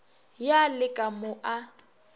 ya le ka mo a